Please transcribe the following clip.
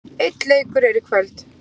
Einn leikur er í kvöld.